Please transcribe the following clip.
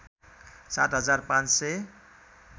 सात हजार पाँच सय